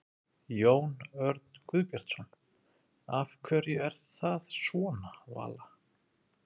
Jón Örn Guðbjartsson: Af hverju er það svona Vala?